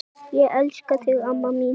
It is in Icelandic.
Ég elska þig amma mín.